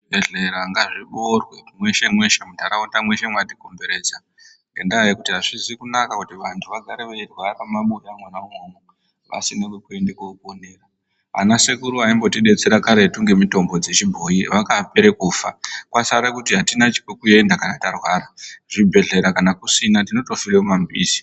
Zvibhedhlera ngazvibeurwe mweshe mweshe muntaraunda mweshe mwakatikomberedza ngendaa yekuti azvizi kunaka kuti vantu vagare veirwara mumabuya mwona umwomwo vasine kwekuende koponera. Ana sekuru aimbotidetsera karetu ngemitombo yechibhoyi vakapere kufa, kwasare kuti atina pekuenda kana tarwara. Zvibhedhlera kana kusina tinotofire mumamizi.